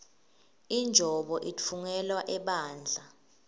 injobo itfungelwa ebandla